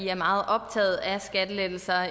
er meget optaget af skattelettelser